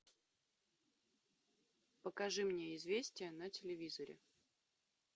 покажи мне известия на телевизоре